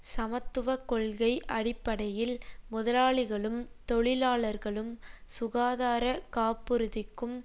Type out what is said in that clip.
சமத்துவ கொள்கை அடிப்படையில் முதலாளிகளும் தொழிலாளர்களும் சுகாதார காப்புறுதிக்கும்